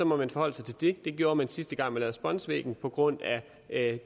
må man forholde sig til det det gjorde man sidste gang man lavede spunsvæggen på grund af